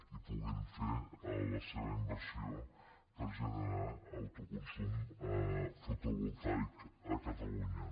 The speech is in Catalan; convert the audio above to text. i puguin fer la seva inversió per a generar autoconsum fotovoltaic a catalunya